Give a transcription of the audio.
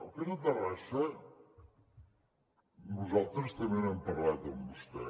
el cas de terrassa nosaltres també n’hem parlat amb vostè